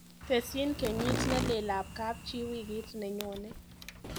Tesyi kenyit neleel ak kapchii wikit nenyone.